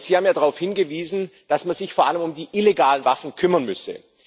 Sie haben darauf hingewiesen, dass man sich vor allem um die illegalen Waffen kümmern müsse.